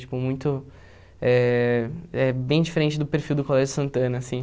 Tipo, muito, eh é bem diferente do perfil do Colégio Santana, assim.